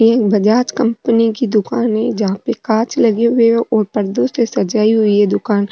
ये एक बजाज कंपनी की दुकान है जहा पे कांच लगे हुए है और पर्दो से सजाई हुई है दुकान।